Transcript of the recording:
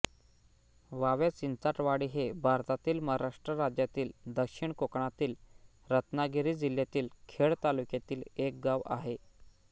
Huawei Chinchatwadi हे भारतातील महाराष्ट्र राज्यातील दक्षिण कोकणातील रत्नागिरी जिल्ह्यातील खेड तालुक्यातील एक गाव आहे